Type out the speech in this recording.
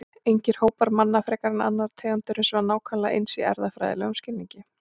Engir hópar manna frekar en annarra tegunda eru hins vegar nákvæmlega eins í erfðafræðilegum skilningi.